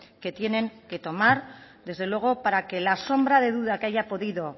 que tengan que tomar desde luego para que la sombra de duda que haya podido